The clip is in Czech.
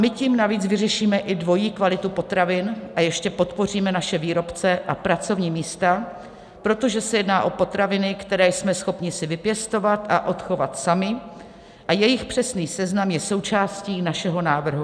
My tím navíc vyřešíme i dvojí kvalitu potravin a ještě podpoříme naše výrobce a pracovní místa, protože se jedná o potraviny, které jsme schopni si vypěstovat a odchovat sami, a jejich přesný seznam je součástí našeho návrhu.